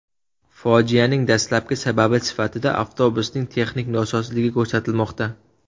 Fojianing dastlabki sababi sifatida avtobusning texnik nosozligi ko‘rsatilmoqda.